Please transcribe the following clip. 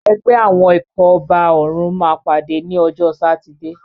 Ẹgbẹ́ àwọn ikọ̀ ọba òrùn máa pàdé ní ọjọ́ sátidé.